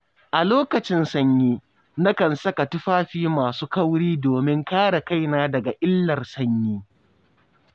A lokacin sanyi, nakan saka tufafi masu kauri domin kare kaina daga illar sanyi.